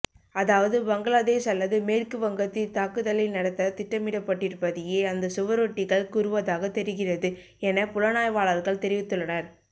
அதாவது பங்களாதேஷ் அல்லது மேற்கு வங்கத்தில் தாக்குதலை நடத்த திட்டமிடப்பட்டிருப்பதையே அந்த சுவரொட்டிகள் கூறுவதாக தெரிகிறது என புலனாய்வாளர்கள் தெரிவித்துள்ளனர்